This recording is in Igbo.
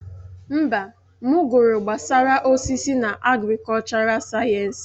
Mba, m gụrụ gbasara osisi na agrikọlchọral sayensị.